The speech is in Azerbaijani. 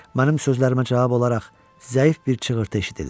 Mənim sözlərimə cavab olaraq zəif bir çığırtı eşidildi.